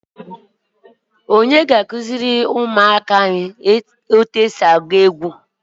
Onye ga-akụziri ụmụaka anyị oliọma denja?